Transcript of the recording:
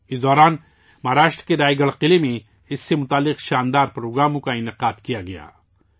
اس دوران مہاراشٹر کے رائے گڑھ قلعہ میں اس سے جڑی عظیم الشان تقریبات منعقد کی گئیں